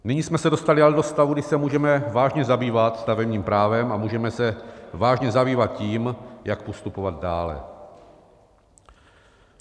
Nyní jsme se dostali ale do stavu, kdy se můžeme vážně zabývat stavebním právem a můžeme se vážně zabývat tím, jak postupovat dále.